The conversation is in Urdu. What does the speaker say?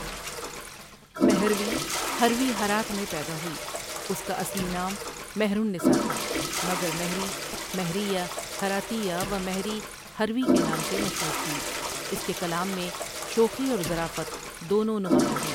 مہروی ہروی ہرات میں پیدا ہوئی اس کا اصلی نام مہرالنساء تھا مگر مهری، مهریه هراتیه و مهری هروی کے نام سے مشہور تھی اس کے کلام میں شوخی اورظرافت دونوں نمایاں ہیں۔